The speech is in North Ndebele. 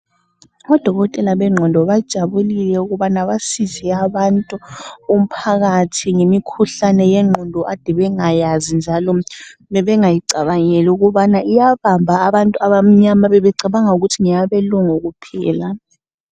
Odokotela bengqondo bajabulike ukubana basize abantu, umphakathi ngemikhuhlane yengqondo akade bengayazi njalo bebengayicabangeli ukuthi iyabamba abantu abamnyama bebecabangela ukuthi ngeyabelungu kuphela.